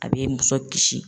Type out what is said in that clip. A bi muso kisi.